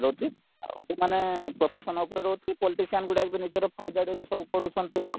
ରହୁଛି ଆଉ ଯୋଉମାନେ ପ୍ରଶାସନ ଉପରେ ରହୁଛି politician ଗୁଡାକବି ନିଜର ଫାଇଦା ଦେଇକି କରୁଛନ୍ତି ଆଉ